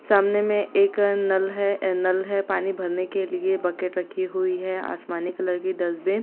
सामने में एक नल है नल है पानी भरने के लिए बकेट रखी हुई है आसमानी कलर की डस्ट बिन --